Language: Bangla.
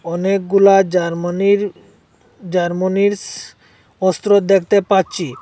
অনেকগুলা জার্মানির জার্মোনিস অস্ত্র দেখতে পাচ্ছি।